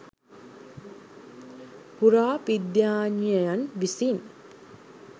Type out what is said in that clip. පුරාවිද්‍යාඥයන් විසින්